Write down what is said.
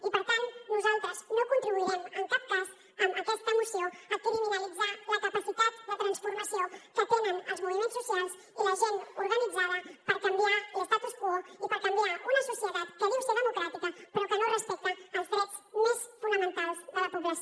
i per tant nosaltres no contribuirem en cap cas amb aquesta moció a criminalitzar la capacitat de transformació que tenen els moviments socials i la gent organitzada per canviar l’que no respecta els drets més fonamentals de la població